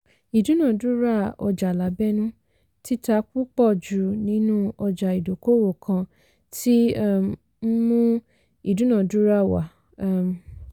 ìdúnàdúràá ọjà lábẹ́nú - títa púpọ̀ jù nínú ọjà ìdókòwò kan tí um ń mú ìdúnàdúrà wá. um